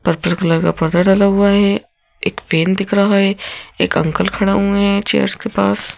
Purple colour का पर्दा डाला हुआ है एक पेन दिख रहा है एक अंकल खड़े हुए हैं चेयर्स के पास।